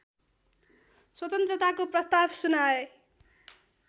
स्वतन्त्रताको प्रस्ताव सुनाए